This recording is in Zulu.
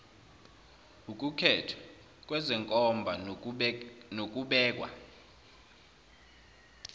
ukukhethwa kwezenkomba nokubekwa